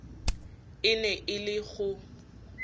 e ne e le go